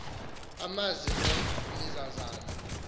amazi lo meazazana